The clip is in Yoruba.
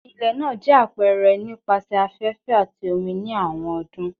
Ilẹ naa jẹ apẹrẹ nipasẹ afẹfẹ ati omi ni awọn ọdun